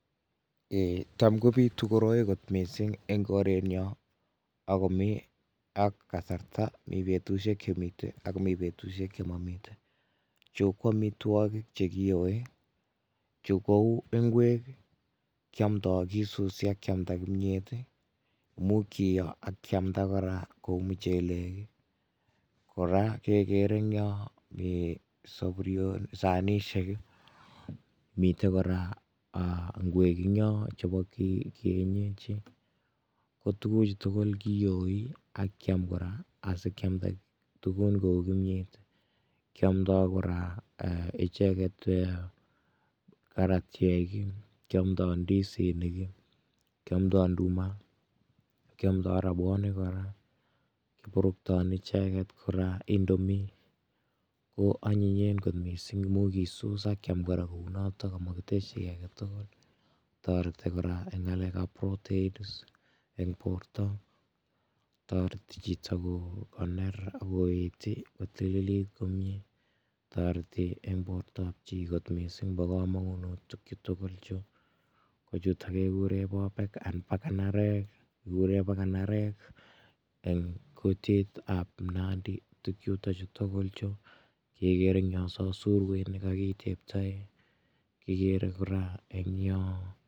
Ee tam kobitu koroi kot miising' eng' korenyo ako mi ak kasarta, mi betusiek che mite ako mi betusiek che ma mite. Chu ko amitwoogik chekiyoi che kouu ngweek kiamndoi kiisusi akiamda kimyet, muuch kiiyoi akiamnda kora kouu mucheleek kora kegeere ng'yo ee saburion, sanisiek mite kora aa ngweek ng'yo chebo kie kienyeji kotuguuk chu tugul chu koyooi ak kiamda asikiamda tugul ee kimyet kiamdoi kora icheeget ee karatiek, kiamdoi ndisinik, kiamdoi nduma , kiamdoi rabwonik kora, korubton icheeget kora indomie ko anyinyen kot misiing' muuch kisuus ak kiiam kora kouunootok amikitesyi kii aketugul . Toreti kora eng' ng'aleek ap proteins eng' boorto , toreti chito koneer akoeet kotililiit komyie toreti eng' boorto ap chi kot misiing' pa komong'unot tukchu tugul chu ko chuutok keguure boobek ang'bakanarek kiguure bakanareek eng' kutit ap nandi. tukchuto tugul chu kegeere eng' yo sokoinik kagiteptae kegeere kora eng' yo